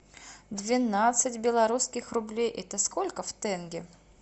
двенадцать белорусских рублей это сколько в тенге